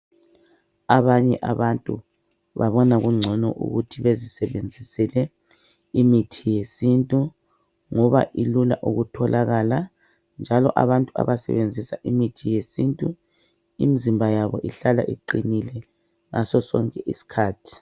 Abanye abantu babona kungcono ukuthi bezisebenzisele imithi yesintu ngoba ilula ukutholakala njalo abantu abaebenzisa imithi yesintu imzimba yabo ihlala iqinile ngasosonke isikhathi.